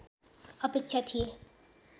अपेक्षा थिए